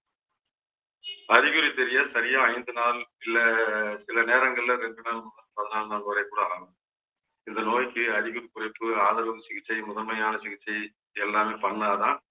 அறிகுறி தெரிய சரியா ஐந்து நாள் இல்லை சில நேரங்கள்ல பதினாலு நாள் வரை கூட ஆகும் இந்த நோய்க்கு அதிகம் குறைப்பு ஆதரவும் சிகிச்சை முதன்மையான சிகிச்சை எல்லாமே பண்ணாதான்